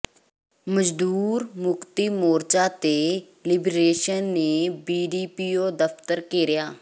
ਮਜ਼ਦੂਰ ਮੁਕਤੀ ਮੋਰਚਾ ਤੇ ਲਿਬਰੇਸ਼ਨ ਨੇ ਬੀਡੀਪੀਓ ਦਫ਼ਤਰ ਘੇਰਿਆ